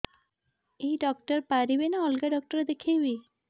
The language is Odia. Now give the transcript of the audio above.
ଏଇ ଡ଼ାକ୍ତର ପାରିବେ ନା ଅଲଗା ଡ଼ାକ୍ତର ଦେଖେଇବି